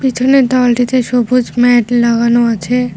পিছনের দেওয়ালটিতে সবুজ ম্যাট লাগানো আছে।